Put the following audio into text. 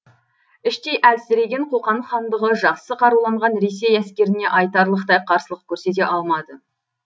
іштей әлсіреген қоқан хандығы жақсы қаруланған ресей әскеріне айтарлықтай қарсылық көрсете алмады